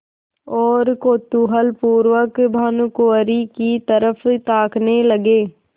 और कौतूहलपूर्वक भानुकुँवरि की तरफ ताकने लगे